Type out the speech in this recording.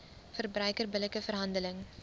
verbruiker billike verhandeling